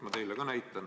Ma näitan teile ka.